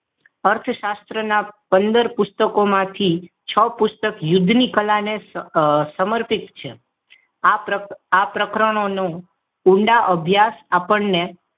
અર્થશાસ્ત્ર ના પંદર પુસ્તકોમાંથી છ પુસ્તકો યુદ્ધની કલાને સમર્પિત છે આ પ્રકરણના ઊંડા અભ્યાસ આપણને